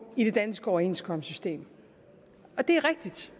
i det danske overenskomstsystem det er rigtigt